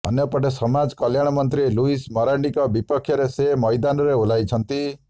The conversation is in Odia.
ଅନ୍ୟପଟେ ସମାଜ କଲ୍ୟାଣମନ୍ତ୍ରୀ ଲୁଇସ୍ ମରାଣ୍ଡିଙ୍କ ବିପକ୍ଷରେ ସେ ମଇଦାନରେ ଓହ୍ଲାଇଛନ୍ତି